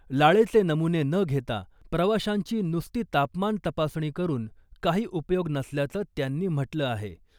लाळेचे नमुने न घेता प्रवाशांची नुसती तापमान तपासणी करून काही उपयोग नसल्याचं त्यांनी म्हटलं आहे .